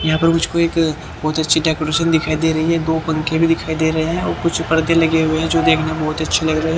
यहाँ पर मुझको एक बहुत अच्छी डेकोरेशन दिखाई दे रही है दो पंखे भी दिखाई दे रहे हैं और कुछ पर्दे लगे हुए हैं जो देखने में बहुत अच्छी लग रही है।